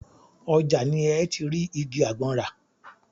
Ọjà ni ẹ́ ti rí igi àgbọn rà.